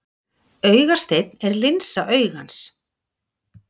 Augasteinn er linsa augans.